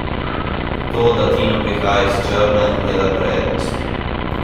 To, da Tina prihaja iz Črne, je le prednost.